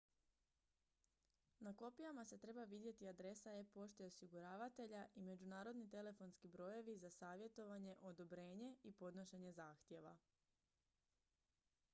na kopijama se treba vidjeti adresa e-pošte osiguravatelja i međunarodni telefonski brojevi za savjetovanje/odobrenje i podnošenje zahtjeva